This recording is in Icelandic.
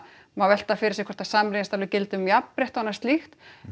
má velta fyrir sér hvort að samrýmist alveg gildum um jafnrétti og annað slíkt